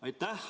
Aitäh!